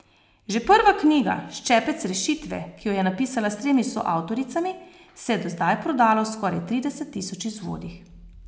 Že prva knjiga, Ščepec rešitve, ki jo je napisala s tremi soavtoricami, se je do zdaj prodala v skoraj trideset tisoč izvodih.